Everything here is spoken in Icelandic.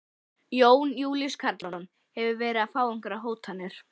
Jón Júlíus Karlsson: Hefurðu verið að fá einhverjar hótanir?